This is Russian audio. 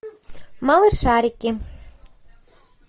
малышарики